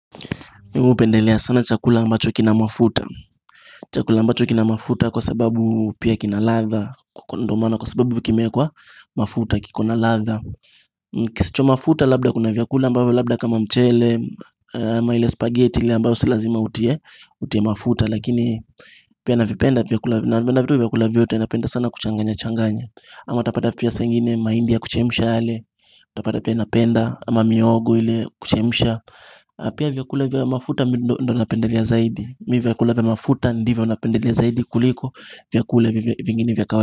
Mimi hupendelea sana chakula ambacho kina mafuta chakula ambacho kina mafuta kwa sababu pia kina ladha ndio maana kwa sababu kimewekwa mafuta kiko na ladha kisicho mafuta labda kuna vyakula ambavyo labda kama mchele ama ile spaghetti ile ambayo si lazima utie mafuta. Lakini pia navipenda vyakula vyote napenda sana kuchanganya changanya ama utapata pia saa ingine mahindi ya kuchemsha yale utapata pia napenda ama mihogo ile kuchemisha na pia vyakula vya mafuta ndio napendele zaidi mimi vyakula vya mafuta ndivyo napendelea zaidi kuliko vyakula vingini vya kawaida.